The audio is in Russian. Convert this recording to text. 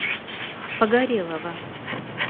погорелова